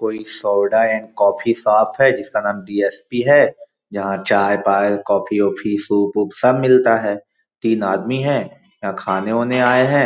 कोई soda and coffee shop जिसका नाम डी.एस .पी. है जहाँ चाय - पाय कॉफ़ी -ओफी सुप -उप सब मिलता है तीन आदमी है यहाँ खाने -ओने आये है